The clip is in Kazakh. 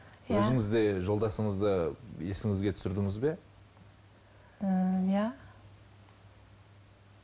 өзіңіз де жолдасыңызды есіңізге түсірдіңіз бе ыыы иә